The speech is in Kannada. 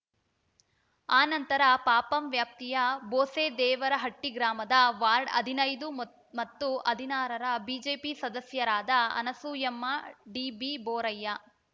ಆ ನಂತರ ಪಪಂ ವ್ಯಾಪ್ತಿಯ ಬೋಸೆದೇವರಹಟ್ಟಿಗ್ರಾಮದ ವಾರ್ಡ್‌ ಹದಿನೈದು ಮತ್ತು ಹದಿನಾರರ ಬಿಜೆಪಿ ಸದಸ್ಯರಾದ ಅನಸೂಯಮ್ಮ ಡಿಬಿಬೋರಯ್ಯ